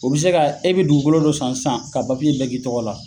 O bɛ se ka e bɛ dugukolo dɔ san sisaan k'a papiye bɛ k'i ɔgɔ la